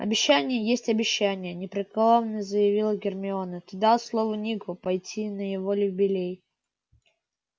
обещание есть обещание непреклонно заявила гермиона ты дал слово нику пойти на его юбилей